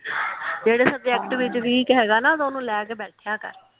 ਜਿਹੜੇ ਸੁਬਜੇਕਟ ਵਿਚ ਵੀਕ ਹੇਗਾ ਨਾ ਉਹਨੂੰ ਲੈ ਕੇ ਬੈਠਿਆ ਕਰ।